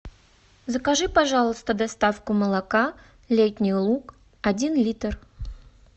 закажи пожалуйста доставку молока летний луг один литр